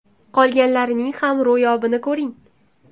Qolganlarining ham ro‘yobini ko‘ring!